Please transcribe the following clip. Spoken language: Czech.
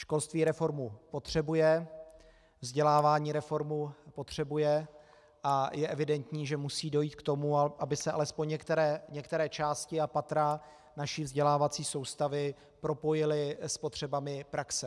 Školství reformu potřebuje, vzdělávání reformu potřebuje a je evidentní, že musí dojít k tomu, aby se alespoň některé části a patra naší vzdělávací soustavy propojily s potřebami praxe.